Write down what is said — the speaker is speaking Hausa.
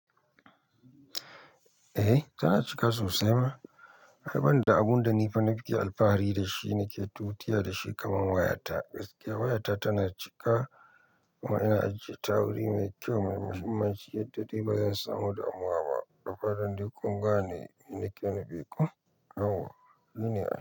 Eh tana cika sosai ma. Har bani da abun da ni fa na fi iya alfahari da shi, nake tutiya da shi kamar wayata. Gaskiya wayata tana cika kuma ina ajiye ta wuri mai kyau, maimahimmanci yadda de ba zan samu damuwa ba. Da fatan dai kungane, abin da nake nufi ko. Yauwa shine ai.